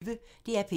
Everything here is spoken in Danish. DR P1